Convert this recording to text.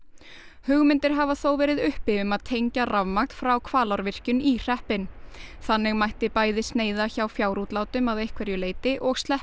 hugmyndir hafa þó verið uppi um að tengja rafmagn frá Hvalárvirkjun í hreppinn þannig mætti bæði sneiða hjá fjárútlátum að einhverju leyti og sleppa